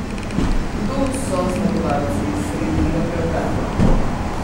Kdo so zmagovalci sredinega preobrata?